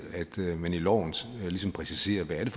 at man i loven ligesom præciserer hvad det